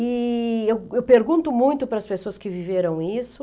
E... eu pergunto muito para as pessoas que viveram isso.